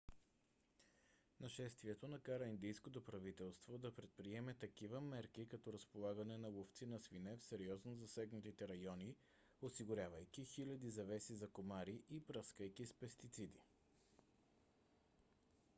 нашествието накара индийското правителство да предприеме такива мерки като разполагане на ловци на свине в сериозно засегнатите райони осигурявайки хиляди завеси за комари и пръскайки с пестициди